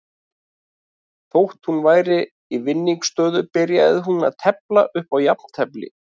Þótt hún væri í vinningsstöðu byrjaði hún að tefla upp á jafntefli.